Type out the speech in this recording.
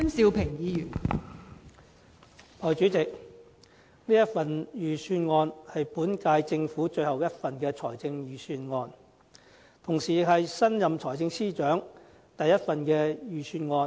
代理主席，這份財政預算案是本屆政府最後一份預算案，同時也是新任財政司司長的第一份預算案。